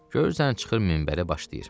Görürsən, çıxır minbərə başlayır.